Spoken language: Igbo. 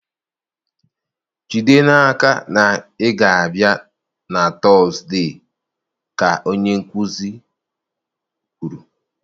Jide n'aka na ị ga-abịa na Tọzdee ka onye nkuzi kwuru.